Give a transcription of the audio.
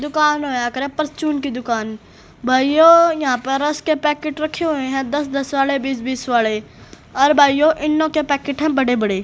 दुकान होया करे परर्च्यून की दुकान भाइयों यहां पर पैकेट रखे हुए है दस दस वाड़े बीस बीस वाड़े और भाइयों ईनो के पैकेट हैं बड़े बड़े --